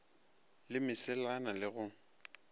le mesela na le go